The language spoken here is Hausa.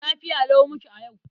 Lafiya lau muke a yau.